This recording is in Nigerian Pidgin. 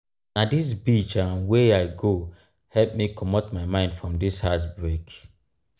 na dis beach um wey i go help me comot my mind from dis heart-break.